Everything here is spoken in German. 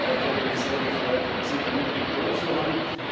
Ich hätte mich sehr gefreut, sie da mit im Boot zu haben.